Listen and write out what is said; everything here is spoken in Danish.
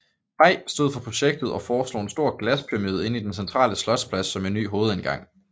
Pei stod for projektet og foreslog en stor glaspyramide inde i den centrale slotsplads som en ny hovedindgang